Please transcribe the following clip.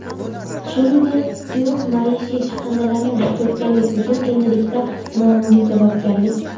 shuningdek suyuq maishiy chiqindilarni to‘kkanlik uchun endilikda ma’muriy javobgarlik:.